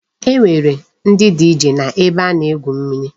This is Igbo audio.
E nwere ndi DJ n'ebe a na-egwu mmiri.